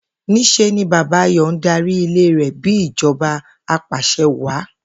Ní s̩e ni Bàbá Ayò ń darí ilé rè̩ bí ìjo̩ba apàs̩e̩wàá